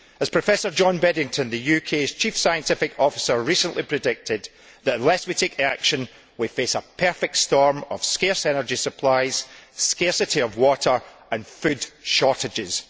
As Professor John Beddington, the UK's Chief Scientific Officer, recently predicted, unless we take action we face a perfect storm of scarce energy supplies, scarcity of water and food shortages.